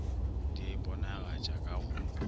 di a iponagatša ka go